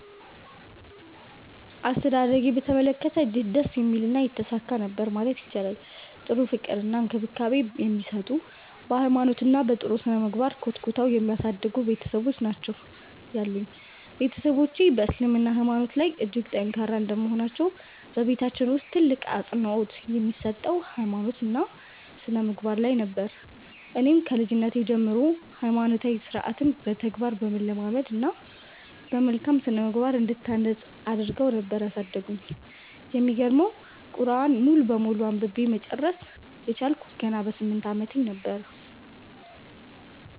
አስተዳደጌን በተመለከተ እጅግ ደስ የሚልና የተሳካ ነበር ማለት ይቻላል። ጥሩ ፍቅር እና እንክብካቤ የሚሰጡ፤ በ ሃይማኖት እና በ ጥሩ ስነምግባር ኮትኩተው የሚያሳድጉ ቤትሰቦች ናቸው ያሉኝ። ቤትሰቦቼ በ እስልምና ሃይማኖታቸው ላይ እጅግ ጠንካራ እንደመሆናቸው በቤታችን ውስጥ ትልቅ አፅንኦት የሚሰጠው ሃይማኖት እና ስነምግባር ላይ ነበር። እኔንም ከልጅነቴ ጀምሮ ሃይማኖታዊ ስርዓትን በተግባር በማለማመድ እና በመልካም ስነምግባር እንድታነፅ አድረገው ነበር ያሳደጉኝ። የሚገርመው ቁርዐንን ሙሉ በሙሉ አንብቤ መጨረስ የቻልኩት ገና በ 8 አመቴ ነበር።